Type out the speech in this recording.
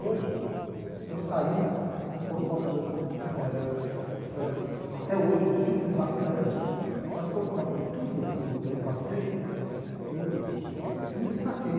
Hoje, eu saí por conta da da eh da da... Até hoje eu estudo bastante, mas por conta de tudo o que eu passei, eu eu me destaquei.